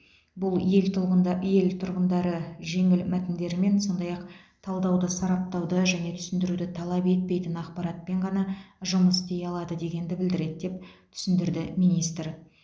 бұл ел тұлғында ел тұрғындары жеңіл мәтіндерімен сондай ақ талдауды сараптауды және түсіндіруді талап етпейтін ақпаратпен ғана жұмыс істей алады дегенді білдіреді деп түсіндірді министр